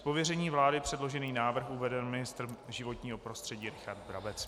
Z pověření vlády předložený návrh uvede ministr životního prostředí Richard Brabec.